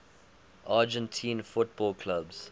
argentine football clubs